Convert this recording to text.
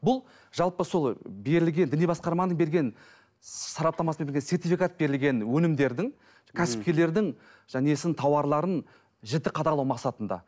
бұл жалпы сол берілген діни басқарманың берген сараптамасымен бірге сертификат берілген өнімдердің кәсіпкерлердің жаңағы несін тауарларын жіті қадағалау мақсатында